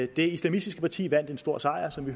det islamistiske parti vandt en stor sejr som vi